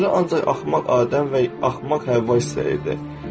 Tanrı ancaq axmaq Adəm və axmaq Həvva istəyirdi.